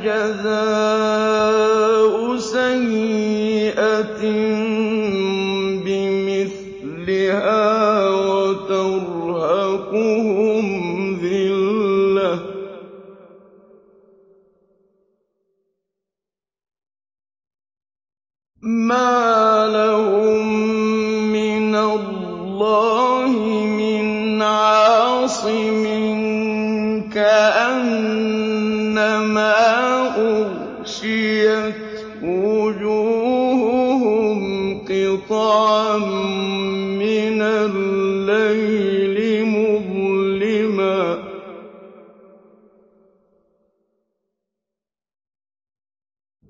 جَزَاءُ سَيِّئَةٍ بِمِثْلِهَا وَتَرْهَقُهُمْ ذِلَّةٌ ۖ مَّا لَهُم مِّنَ اللَّهِ مِنْ عَاصِمٍ ۖ كَأَنَّمَا أُغْشِيَتْ وُجُوهُهُمْ قِطَعًا مِّنَ اللَّيْلِ مُظْلِمًا ۚ